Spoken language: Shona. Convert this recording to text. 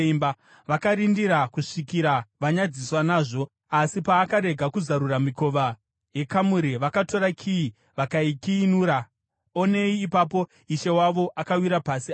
Vakarindira kusvikira vanyadziswa nazvo asi paakarega kuzarura mikova yekamuri, vakatora kiyi vakaikiyinura. Onei ipapo ishe wavo akawira pasi, afa.